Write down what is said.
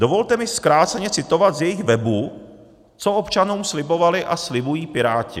Dovolte mi zkráceně citovat z jejich webu, co občanům slibovali a slibují Piráti.